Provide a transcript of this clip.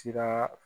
Siraa